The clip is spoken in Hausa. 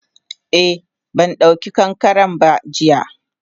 Eh bandauki kankaren ba jiya.